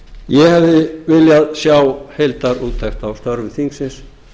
ég hefði viljað sjá heildarúttekt á störfum þingsins